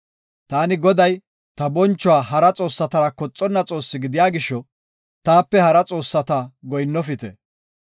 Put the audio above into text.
Taani Goday, ta bonchuwa hara xoossatara koxonna Xoosse gidiya gisho, taape hara xoossatas goyinnofite.